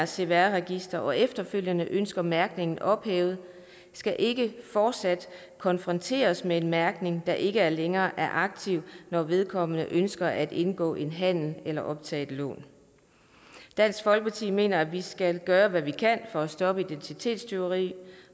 cpr registeret og efterfølgende ønsker mærkningen ophævet skal ikke fortsat konfronteres med en mærkning der ikke længere er aktiv når vedkommende ønsker at indgå en handel eller optage et lån dansk folkeparti mener vi skal gøre hvad vi kan for at stoppe identitetstyveri